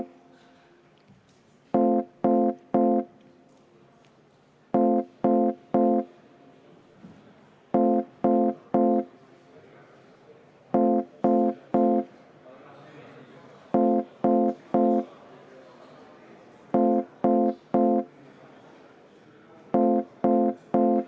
Auväärt kolleegid!